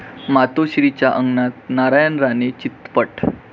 मातोश्रीच्या अंगणात नारायण राणे चितपट